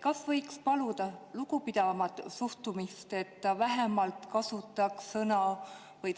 Kas võiks paluda lugupidavamat suhtumist, et vähemalt kasutataks